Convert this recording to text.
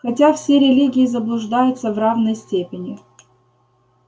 хотя все религии заблуждаются в равной степени